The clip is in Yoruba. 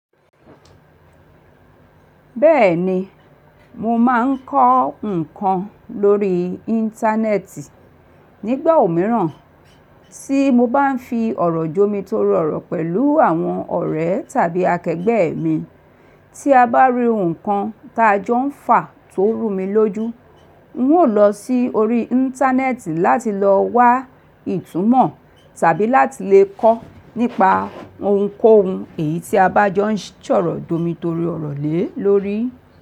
Bẹ́ẹ̀ni, mo máa ń kọ́ nǹkan lórí Íńtánẹ́ẹ̀tì nígbà òmíràn tí mo bá ń fi ọ̀rọ̀ jó mi tóro oro pẹ̀lú àwọn ọ̀rẹ́ tàbí akẹgbẹ́ mi. Tí a bá rí nǹkan ta jọ ń fà tó rú mi lójú, ń ó lọ sí orí Íńtánẹ́ẹ̀tì láti lọ wá ìtúmọ̀ tàbí láti lè kọ́ nípa ohunkóhun èyí tí a bá jọ ń sọ̀rọ̀ jó mi torí ọ̀rọ̀ lè lórí.